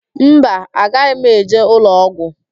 Mba, agaghị m eje ụlọọgwụ.